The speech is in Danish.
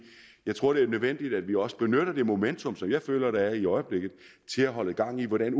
jeg tror det er nødvendigt at vi også benytter det momentum som jeg føler der er i øjeblikket til at holde gang i hvordan